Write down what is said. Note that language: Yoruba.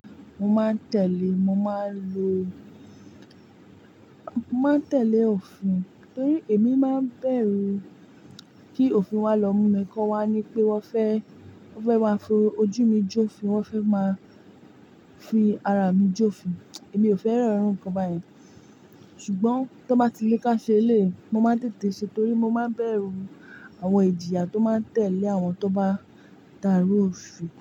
Mo máa ń tẹ̀lé, mo máa ń lo-- n máa ń tẹ̀lé òfin torí èmi máa ń bẹ̀rù kí òfin wa lọ mú mi kọ́wá ní pé wọ́n fẹ́, wọ́n fẹ́ n ba fi ojú mi jó ofin, wọ́n fẹ́ máa fi ara mi jó ofin. Èmi ò fẹ́ràn iru nnkan báyen. Ṣùgbọ́n tó bá ti lé ká ṣe eléyi, mo máa ń tètè ṣe torí mo máa ń bẹ̀rù àwọn ìjìyà tó máa ń tẹ̀lé àwọn tó bá dárí òfin.